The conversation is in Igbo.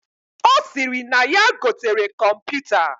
Osiri na yaa gotere kọmputa.